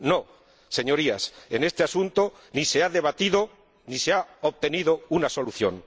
No, Señorías, en este asunto ni se ha debatido ni se ha obtenido una solución.